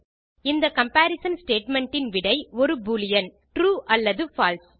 இந்த comparison statement இன் விடை ஒரு boolean ட்ரூ அல்லது பால்சே